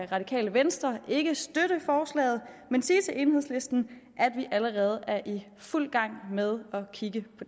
radikale venstre ikke støtte forslaget men sige til enhedslisten at vi allerede er i fuld gang med at kigge